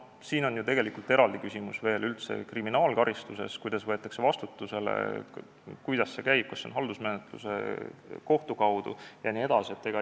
Siin on ju eraldi küsimus veel üldse kriminaalkaristuses, kuidas võetakse vastutusele, kuidas see käib, kas siin on haldusmenetlus, kas see toimub kohtu kaudu jne.